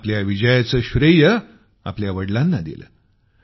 तिनं आपल्या विजयाचं श्रेय आपल्या वडलाना दिलं